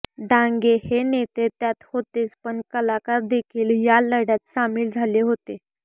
डांगे हे नेते त्यात होतेच पण कलाकार देखील या लढ्यात सामील झाले होते